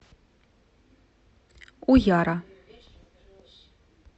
уяра